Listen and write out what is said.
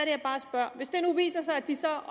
jeg bare spørger hvis det nu viser sig at de så